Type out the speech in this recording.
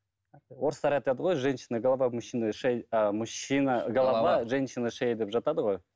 орыстар айтады ғой женщина голова мужчина а мужчина голова женщина шея деп жатады ғой